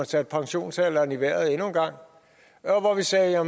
satte pensionsalderen i vejret og hvor vi sagde